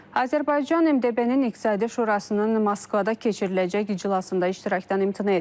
Azərbaycan MDB-nin İqtisadi Şurasının Moskvada keçiriləcək iclasında iştirakdan imtina edib.